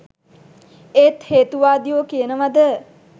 ඒත් හේතුවාදියො කියනවද